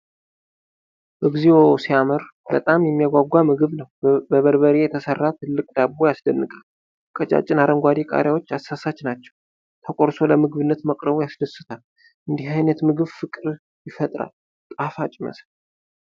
እግዚኦ ሲያምር! በጣም የሚያጓጓ ምግብ ነው። በበርበሬ የተሰራ ትልቅ ዳቦ ያስደንቃል። ቀጫጭን አረንጓዴ ቃሪያዎች አሳሳች ናቸው። ተቆርሶ ለምግብነት መቅረቡ ያስደስታል። እንዲህ አይነት ምግብ ፍቅር ይፈጥራል። ጣፋጭ ይመስላል!